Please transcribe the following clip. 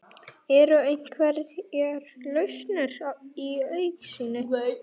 Er einhver lausn í augsýn?